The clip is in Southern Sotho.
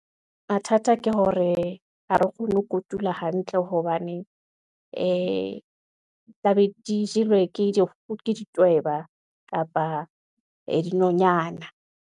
Mathata ke hore ha re kgone ho kotula hantle, hobane tla be di jelwe ke ditweba kapa ee dinonyana.